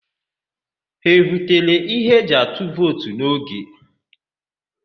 Ha ebutere ihe eji atụ vootu n'oge?